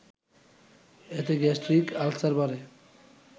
এতে gastric ulcer বাড়ে